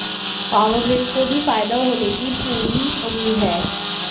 power grid को भी फायदा होने की पूरी उम्मीद है